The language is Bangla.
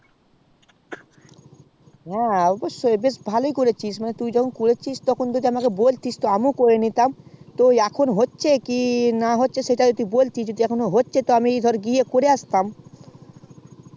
হ্যা তা তুই ভালোই করেছিস তা তুই যখন করেছিস তখন যদি আমাকে বোলটিস আমিও করে নিতাম তো এখন হচ্ছে কি না হচ্ছে সেটা যদি আমাকে বোলটিস তাহলে আমি করে আসতাম বুজলি